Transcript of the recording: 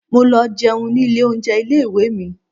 Mo lọ jẹun ní ilé oúnjẹ ilé ìwé mi.